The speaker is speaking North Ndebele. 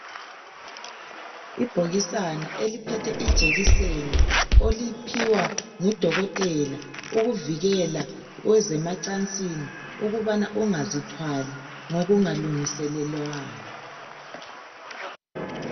Ibhokisana eliphethe ijekiseni oyiphiwa ngudokotela ukuvikela kwezemacansini ukubana ungazithwali ngokungalungiselelwanga.